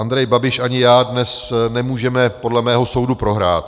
Andrej Babiš ani já dnes nemůžeme podle mého soudu prohrát.